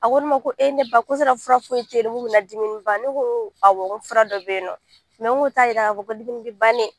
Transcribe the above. A ko ne ma ko e ne ba ko sala fura foyi tɛ yen nɔ min bɛna dimi in ban ne ko fura dɔ bɛ yen nɔ n ko t'a jira a ko dimi bɛ ban dɛ